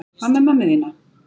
Hvað með mömmu þína?